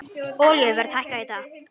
Olíuverð hækkaði í dag